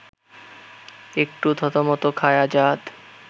একটু থতমত খায় আজাদ